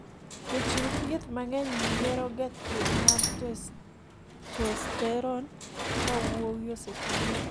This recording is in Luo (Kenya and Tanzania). jochiw thieth mang'eny yiero ga thieth mar testosterone ka wuowi osepong'